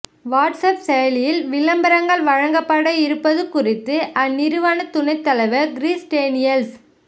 WhatsApp செயலியில் விளம்பரங்கள் வழங்கப்பட இருப்பது குறித்து அந்நிறுவன துணைத் தலைவர் க்ரிஸ் டேனிய்ல்ஸ